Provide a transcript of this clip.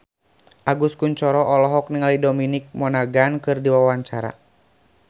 Agus Kuncoro olohok ningali Dominic Monaghan keur diwawancara